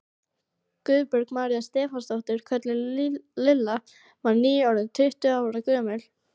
Guðbjörg María Stefánsdóttir, kölluð Lilla, var nýorðin tíu ára gömul.